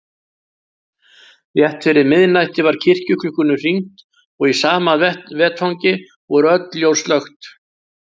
Rétt fyrir miðnætti var kirkjuklukkum hringt- og í sama vetfangi voru öll ljós slökkt.